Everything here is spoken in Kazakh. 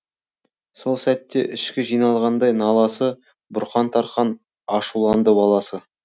сол сәтте ішке жиналғандай наласы бұрқан тарқан ашуланды баласы